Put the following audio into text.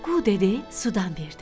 Qu dedi, sudan verdi.